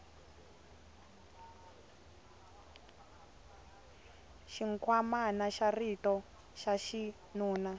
xinkwamana xa xirho xa xinuna